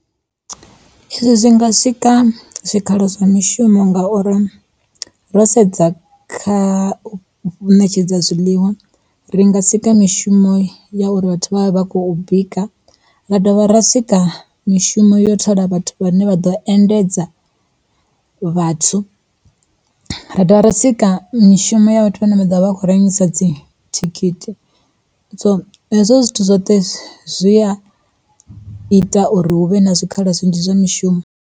Zwi nga swika zwikhala zwa mishumo ngauri, ro sedza kha ṋetshedza zwiḽiwa ri nga sika mishumo ya uri vhathu vha vha khou bika. Ra dovha ra sika mishumo yo thola vhathu vhane vha ḓo endedza vhathu, ra dovha ra sika mishumo ya vhathu vha ne vha ḓovha vha khou rengisa dzi thikhithi, so hezwo zwithu zwoṱhe zwi a ita uri hu vhe na zwikhala zwinzhi zwa mishumo.